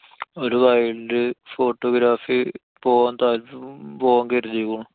ഒരു wild photography പോവാന്‍ താല്‍~ പോവാന്‍ കരുതിയേക്കണു.